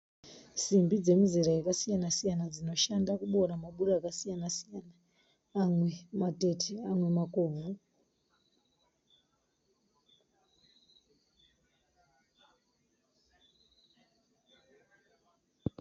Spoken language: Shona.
Simbi dzemizera yakasiyana siyana dzinoshanda kuboora maburi akasiyana siyana amwe matete amwe makobvu.